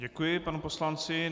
Děkuji panu poslanci.